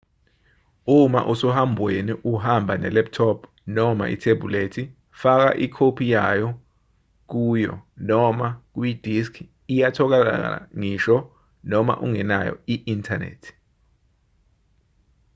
uma usohambweni uhamba ne-laptop noma uthebhulethi faka ikhophi yayo kuyo noma kuyidiski iyatholakala ngisho noma ungenayo i-inthanethi